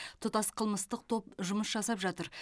тұтас қылмыстық топ жұмыс жасап жатыр